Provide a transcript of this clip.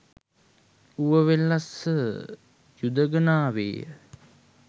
ඌවවෙල්ලස්ස යුදඟනාවේය